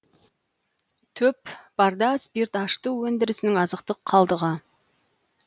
төп барда спирт ашыту өндірісінің азықтық қалдығы